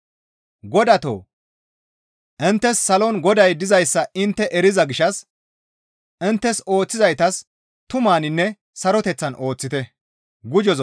Godatoo! Inttes salon Goday dizayssa intte eriza gishshas inttes ooththizaytas tumaninne suureteththan ooththite.